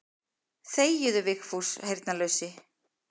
Þegiðu Vigfús heyrnarlausi.